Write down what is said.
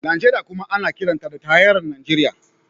Najeriya kuma ana kiranta da tarayyar Najeriya.